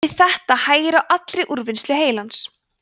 við þetta hægir á allri úrvinnslu heilans